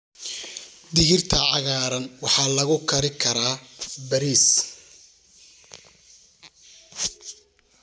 Digirta cagaaran waxaa lagu kari karaa bariis.